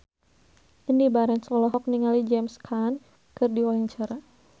Indy Barens olohok ningali James Caan keur diwawancara